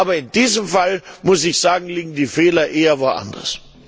Aber in diesem Fall, muss ich sagen, liegen die Fehler eher woanders.